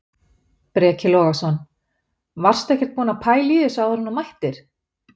Breki Logason: Varstu ekkert búinn að pæla í þessu áður en þú mættir?